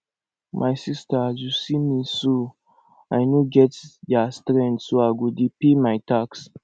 my sister as you see me so i no get their strength so i go dey pay my tax